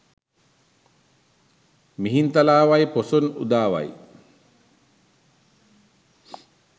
mihinthalawayi poson udawayi